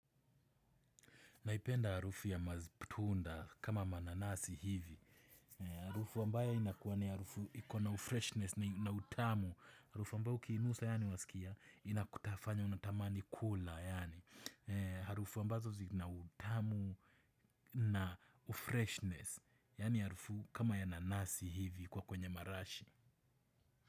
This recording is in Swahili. Naipenda harufu ya matunda kama mananasi hivi. Harufu wambayo inakuwa ni harufu ikona ufreshness na utamu. Harufu ambayo ukiinusa yaani wasikia inakutafanya unatamani kula. Harufu ambazo zina utamu na ufreshness. Yani harufu kama ya nanasi hivi kwa kwenye marashi.